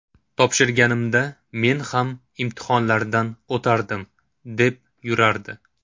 Topshirganimda men ham imtihonlardan o‘tardim, deb yurardi.